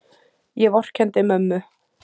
Ég vorkenndi mömmu.